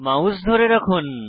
mouse ধরে থাকুন